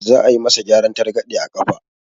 Za a yi ma sa gyaran targaɗe a ƙafa